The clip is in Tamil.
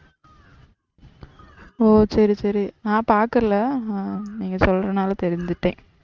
ஓ சரி சரி நான் பாக்கல நீங்க சொல்றதுனால தெரிஞ்சிட்டேன்.